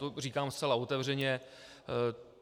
To říkám zcela otevřeně.